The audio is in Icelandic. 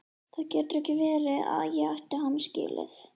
Það gat ekki verið að ég ætti hann skilið.